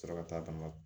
Sɔrɔ ka taa dama